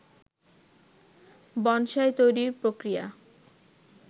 bonsai তৈরির প্রক্রিয়া